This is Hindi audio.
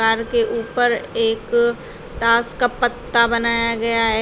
कार के ऊपर एक ताश का पत्ता बनाया गया है।